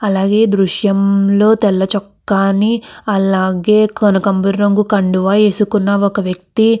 అలగేయ్ ద్రుశము లో తెల చోకని కనిపెస్తునది. ఇక్కడ కోబరి కడువ వేసోకోన వక వక్తి కనిపెస్తునారు ఇక్కడ మనకు.